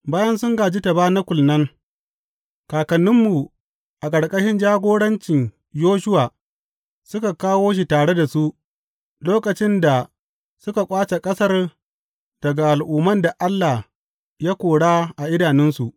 Bayan sun gāji tabanakul nan, kakanninmu a ƙarƙashin jagorancin Yoshuwa suka kawo shi tare da su, lokacin da suka ƙwace ƙasar daga al’umman da Allah ya kora a idanunsu.